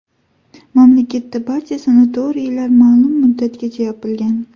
Mamlakatdagi barcha sanatoriylar noma’lum muddatgacha yopilgan .